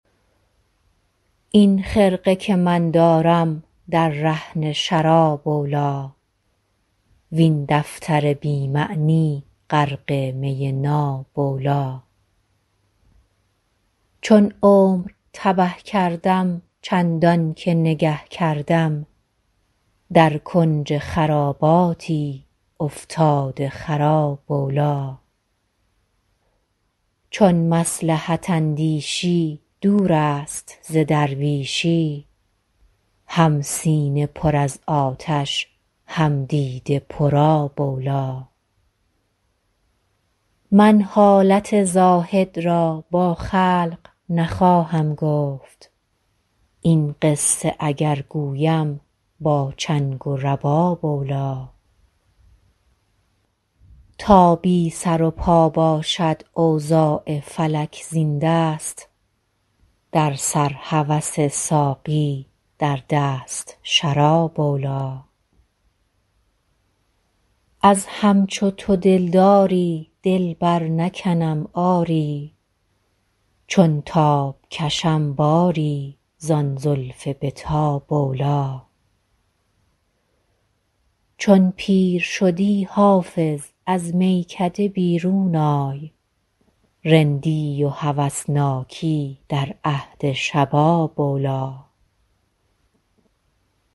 این خرقه که من دارم در رهن شراب اولی وین دفتر بی معنی غرق می ناب اولی چون عمر تبه کردم چندان که نگه کردم در کنج خراباتی افتاده خراب اولی چون مصلحت اندیشی دور است ز درویشی هم سینه پر از آتش هم دیده پرآب اولی من حالت زاهد را با خلق نخواهم گفت این قصه اگر گویم با چنگ و رباب اولی تا بی سر و پا باشد اوضاع فلک زین دست در سر هوس ساقی در دست شراب اولی از همچو تو دلداری دل برنکنم آری چون تاب کشم باری زان زلف به تاب اولی چون پیر شدی حافظ از میکده بیرون آی رندی و هوسناکی در عهد شباب اولی